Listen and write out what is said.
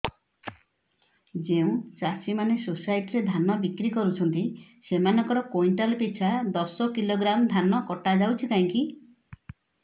ଯେଉଁ ଚାଷୀ ମାନେ ସୋସାଇଟି ରେ ଧାନ ବିକ୍ରି କରୁଛନ୍ତି ସେମାନଙ୍କର କୁଇଣ୍ଟାଲ ପିଛା ଦଶ କିଲୋଗ୍ରାମ ଧାନ କଟା ଯାଉଛି କାହିଁକି